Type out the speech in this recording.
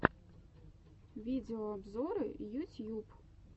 видеообзоры ютьюб